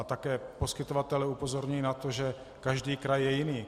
A také poskytovatelé upozorňují na to, že každý kraj je jiný.